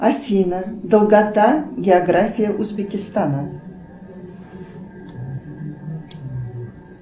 афина долгота география узбекистана